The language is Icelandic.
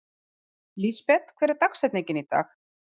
Lísebet, hver er dagsetningin í dag?